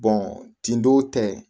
ten don tɛ